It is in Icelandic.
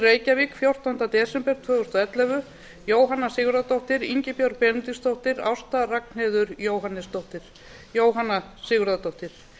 reykjavík fjórtánda desember tvö þúsund og ellefu jóhanna sigurðardóttir ingibjörg benediktsdóttir ásta ragnheiður jóhannesdóttir jóhanna sigurðardóttir